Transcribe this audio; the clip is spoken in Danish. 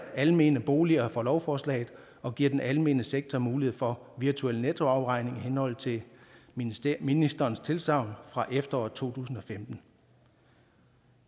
almene boliger fra lovforslaget og giver den almene sektor mulighed for virtuel nettoafregning i henhold til ministerens ministerens tilsagn fra efteråret to tusind og femten